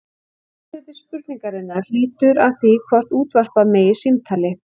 Seinni hluti spurningarinnar lýtur að því hvort útvarpa megi símtali.